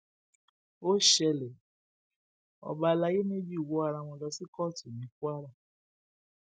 ó ṣẹlẹ ọba àlàyé méjì wọ ara wọn lọ sí kóòtù ní kwara